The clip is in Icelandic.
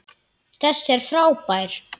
Þessi er frábær!